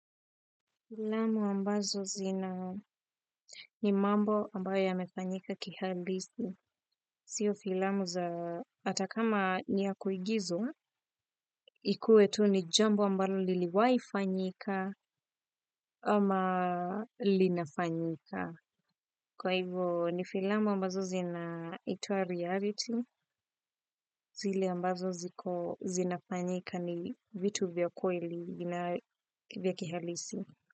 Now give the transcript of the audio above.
Filamu ambazo zina ni mambo ambayo yamefanyika kihalisi. Sio filamu za ata kama ni ya kuigizwa, ikuwe tu ni jambo ambalo liliwaifanyika ama linafanyika. Kwa hivyo ni filamu ambazo zinaitwa reality. Zile ambazo ziko zinafanyika ni vitu vya kweli vya kihalisi.